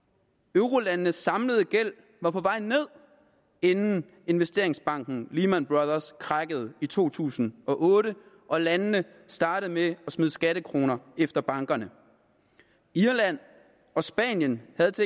eurolandenes samlede gæld var på vej ned inden investeringsbanken lehman brothers krakkede i to tusind og otte og landene startede med at smide skattekroner efter bankerne irland og spanien havde